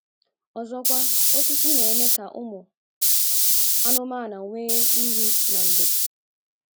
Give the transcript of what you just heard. Ọzọkwa, osisi na - eme ka ụmụ anụmanụ nwee nri na ndo.